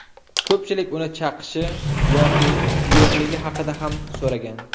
Ko‘pchilik uni chaqishi yoki yo‘qligi haqida ham so‘ragan.